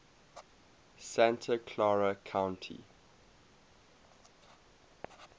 santa clara county